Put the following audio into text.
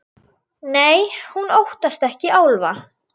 Nei, hún óttast ekki álfa.